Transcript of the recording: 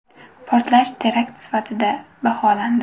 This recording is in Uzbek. Portlash terakt sifatida baholandi .